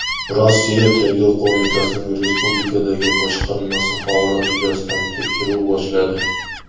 Rossiya Tergov qo‘mitasining respublikadagi boshqarmasi holat yuzasidan tekshiruv boshladi.